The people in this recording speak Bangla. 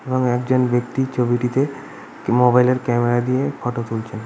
এবং একজন ব্যক্তি ছবিটিতে মোবাইল -এর ক্যামেরা দিয়ে ফটো তুলছেন।